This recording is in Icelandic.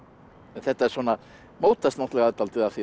þetta svona mótast náttúrulega dálítið af því